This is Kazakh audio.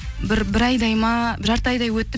бір бір айдай ма жарты айдай өтті